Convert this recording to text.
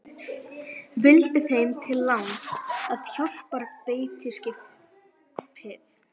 Vildi þeim til láns, að hjálparbeitiskipið